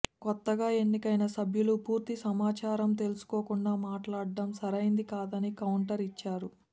కొత్తగా ఎన్నికైన సభ్యులు పూర్తి సమాచారం తెలుసుకోకుండా మాట్లాడటం సరైంది కాదని కౌంటర్ ఇచ్చారు